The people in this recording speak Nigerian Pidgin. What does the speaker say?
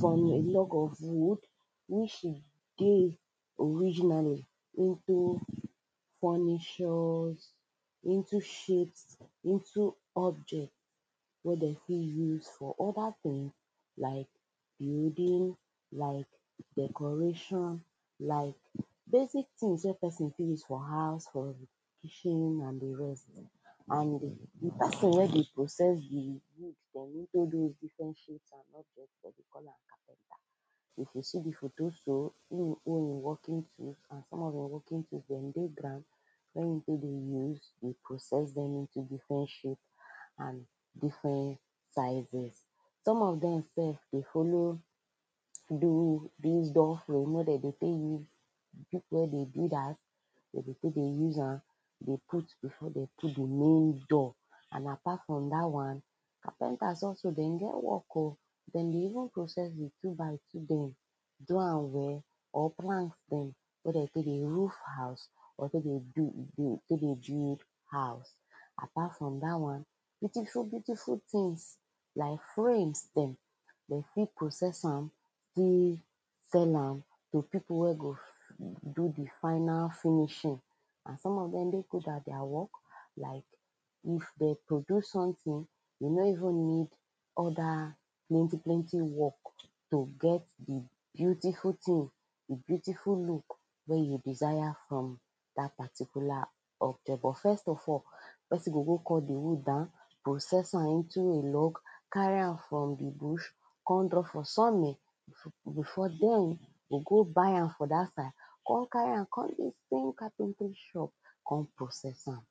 from a log of wood which e dey originally into furnitures into shapes, into objects wey dem fit use for other things like building, like decoration, like basic things wey person fit use for house, for e kitchen and the rest and the person wey dey process the wood for making those diffrent shapes and objects, them dey call capenter if you see this felo, so him hold him workings and some of him working tools dem dey ground wen him take dey house dey process dem into different shapes and different sizes some of dem sef dey follow do this door fraim wey dem dey take dey use am people wey dey build house dem dey take dey use am, dey put before dem put the main door an apart from that one, carpenta also dem get work oh dem dey even process the 2 by 2 dem do am well, or plank dem wey dem take the roof house or take dey build build house apart from that one. beautiful beautiful things like frames dem dem fit process am fit sell am to people wey go do the final finishing and some of them de good at their work like if dem produce something, dem no even need other plenty plenty work to get the beautiful thing the beautiful look wey you desire from that particular object but first of all, person go go cut the wood down, process am into a log carry am from the bush, come drop for sunning before before dem go go buy am for that side come carry am come give any capentry shop, come process am